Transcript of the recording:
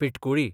पिंटकुळी